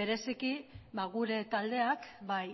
bereziki gure taldeak bai